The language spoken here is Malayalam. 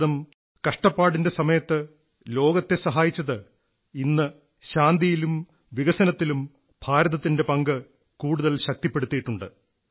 ഭാരതം കഷ്ടപ്പാടിന്റെ സമയത്ത് ലോകത്തെ സഹായിച്ചത് ഇന്ന് ശാന്തിയിലും വികസനത്തിലും ഭാരതത്തിന്റെ പങ്ക് കൂടുതൽ ശക്തിപ്പെടുത്തിയിട്ടുണ്ട്